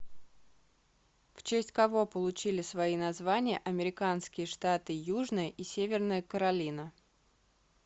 в честь кого получили свои названия американские штаты южная и северная каролина